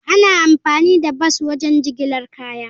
Ana amfani da bas wajen jigilar kaya.